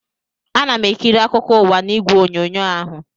Ana m ekiri akụkọ ụwa n'igwe onyonyo ahụ